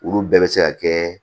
Olu bɛɛ bɛ se ka kɛ